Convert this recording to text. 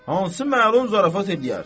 Hansı məlun zarafat eləyər?